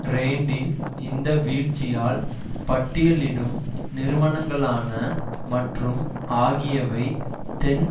randint இந்த வீழ்ச்சியால் பட்டியலிடும் நிறுவனங்களான மற்றும் ஆகியவை தென்